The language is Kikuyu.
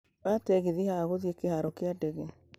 oya tegithi haha gũthiĩ kĩharo ya ndege